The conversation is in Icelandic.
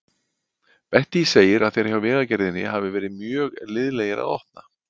Bettý segir að þeir hjá Vegagerðinni hafi verið mjög liðlegir að opna.